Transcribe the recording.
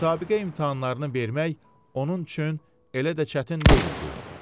Müsabiqə imtahanlarını vermək onun üçün elə də çətin deyildi.